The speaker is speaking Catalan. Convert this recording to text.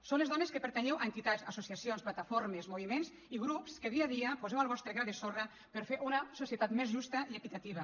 sou les dones que pertanyeu a entitats associacions plataformes moviments i grups que dia a dia poseu el vostre gra de sorra per fer una societat més justa i equitativa